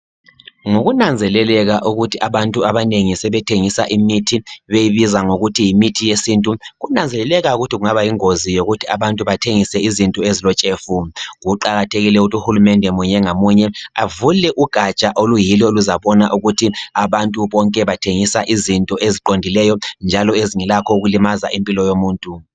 Ngokunanzeleleka ukuthi abantu abanengi sebethengisa imithi beyibiza ngokuthi yimithi yesintu, kunanzeleleka ukuthi kungaba yingozi yokuthi abantu bathengise izinto ezilotshefu, kuqakathekile ukuthi uhulumende munye ngamunye avule ugatsha oluyilo oluzabona ukuthi abantu bonke bathengisa izinto eziqondileyo njalo ezingelakho ukulimaza impilo yomuntu.